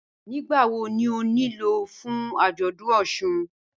Nígbàwọ̀ ní o ní lọ̀ fún ajọ́dún Ọṣun?